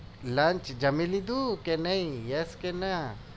lunch જામી લીધું કે નહિ yes કે ના